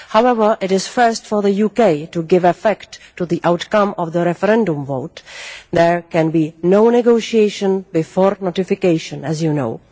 However, it is first for the UK to give effect to the outcome of the referendum vote. There can be no negotiation before notification, as you know.